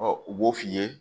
u b'o f'i ye